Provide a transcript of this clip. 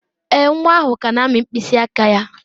Èè, nwa ahụ ka na-amị mkpịsị aka ya.